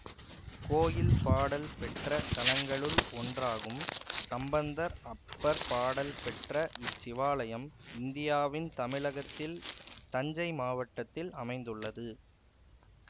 கோயில் பாடல் பெற்ற தலங்களுள் ஒன்றாகும் சம்பந்தர் அப்பர் பாடல் பெற்ற இச்சிவாலயம் இந்தியாவின் தமிழகத்தில் தஞ்சை மாவட்டத்தில் அமைந்துள்ளது